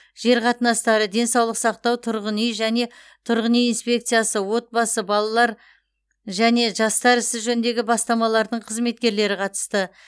жер қатынастары денсаулық сақтау тұрғын үй және тұрғын үй инспекциясы отбасы балалар және жастар істері жөніндегі бастамалардың қызметкерлері қатысты